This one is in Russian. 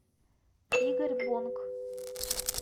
игорь бонк